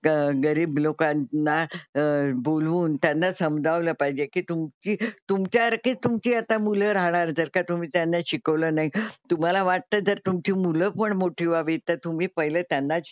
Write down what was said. ग गरीब लोकांना बोलवून त्यांना समजावलं पाहिजे की तुमची तुमच्या सारखी तुमची आता मुलं राहणार जर का तुम्ही त्यांना शिकवलं नाही. तुम्हाला वाटतं जर तुमची मुलं पण मोठी व्हावी तर तुम्ही पहिले त्यांना,